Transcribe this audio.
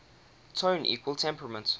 tone equal temperament